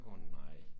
Åh nej